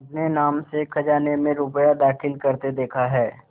अपने नाम से खजाने में रुपया दाखिल करते देखा है